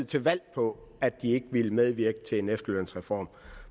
til valg på at de ikke ville medvirke til en efterlønsreform